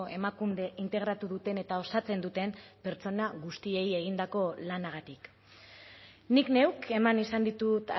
emakunde integratu duten eta osatzen duten pertsona guztiei egindako lanagatik nik neuk eman izan ditut